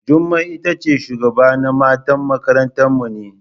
Jummai itace shugabana matan makaranta mu ne.